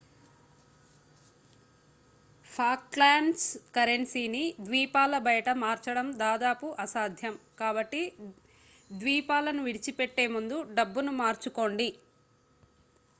Falklands కరెన్సీని ద్వీపాల బయట మార్చడం దాదాపు అసాధ్యం కాబట్టి ద్వీపాలను విడిచిపెట్టే ముందే డబ్బును మార్చుకోండి